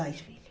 Dois filhos.